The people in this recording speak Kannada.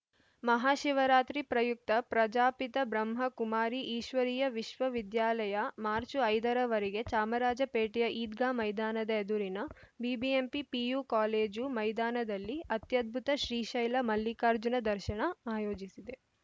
ಮಹಾಶಿವರಾತ್ರಿ ಪ್ರಯುಕ್ತ ಪ್ರಜಾಪಿತ ಬ್ರಹ್ಮ ಕುಮಾರಿ ಈಶ್ವರೀಯ ವಿಶ್ವ ವಿದ್ಯಾಲಯ ಮಾರ್ಚು ಐದರವರೆಗೆ ಚಾಮರಾಜಪೇಟೆಯ ಈದ್ಗಾ ಮೈದಾನದ ಎದುರಿನ ಬಿಬಿಎಂಪಿ ಪಿಯು ಕಾಲೇಜು ಮೈದಾನದಲ್ಲಿ ಅತ್ಯದ್ಭುತ ಶ್ರೀಶೈಲ ಮಲ್ಲಿಕಾರ್ಜುನ ದರ್ಶನಆಯೋಜಿಸಿದೆ